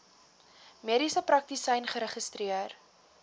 mediese praktisyn geregistreer